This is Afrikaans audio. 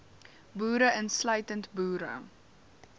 boere insluitend boere